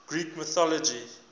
greek mythology